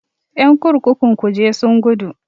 Ƴan kurkukun kuje sun gudu.